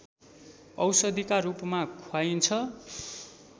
औषधिका रूपमा खुवाइन्छ